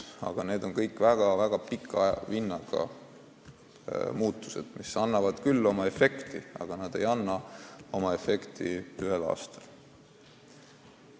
Aga need on kõik väga pika vinnaga muutused, mis annavad küll oma efekti, aga mitte ühe aastaga.